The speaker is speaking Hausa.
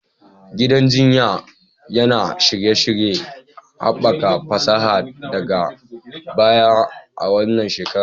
Gidan jinya yana shirye-shiryen haɓaka fasaha daga baya a wannan shekara